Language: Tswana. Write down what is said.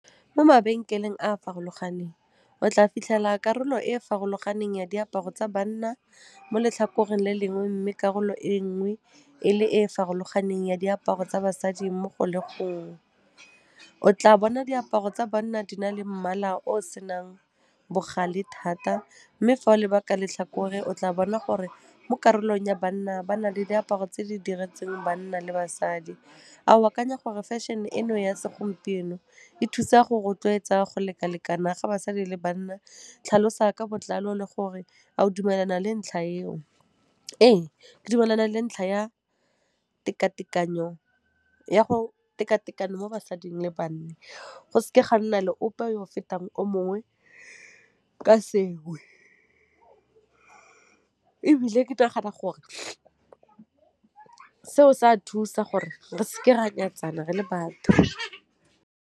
Mo mabenkeleng a a farologaneng, o tla fitlhela karolo e e farologaneng ya diaparo tsa banna mo letlhakoreng le lengwe, mme karolo e nngwe e le e e farologaneng ya diaparo tsa basadi mo go le gong. O tla bona diaparo tsa banna di na le mmala o senang bogale thata mme fa o leba ka letlhakore o tla bona gore mo karolong ya banna ba na le diaparo tse di diretsweng banna le basadi. A o akanya gore fashion-e eno ya se gompieno e thusa go rotloetsa go leka-lekana ga basadi le banna? Tlhalosa ka botlalo le gore a o dumelana le ntlha eo. Ee, ke dumelana le ntlha ya teka-tekano mo basading le banna, go s'ke ga nna le ope yo fetang o mongwe ka sewe, ebile ke nagana gore seo s'a thusa gore re s'ke ra nyatsana re le batho.